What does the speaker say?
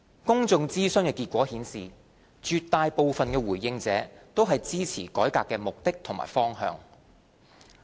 公眾諮詢結果顯示絕大部分的回應者均支持改革的目的和方向。